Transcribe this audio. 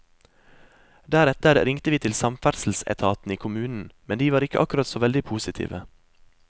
Deretter ringte vi til samferdselsetaten i kommunen, men de var ikke akkurat så veldig positive.